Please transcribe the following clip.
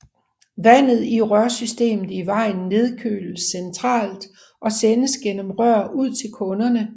Vandet i rørsystemet i vejen nedkøles centralt og sendes gennem rør ud til kunderne